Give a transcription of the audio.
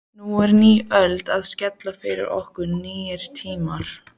Nú er ný öld að skella yfir okkur, nýir tímar.